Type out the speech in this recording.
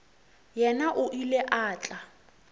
yena o ile a tla